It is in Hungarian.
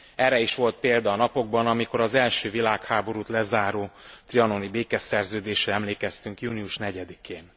Erre is volt példa a napokban, amikor az első világháborút lezáró trianoni békeszerződésre emlékeztünk június 4 én.